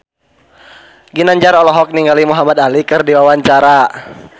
Ginanjar olohok ningali Muhamad Ali keur diwawancara